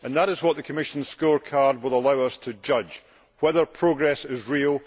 That is what the Commission scorecard will allow us to judge whether progress is real.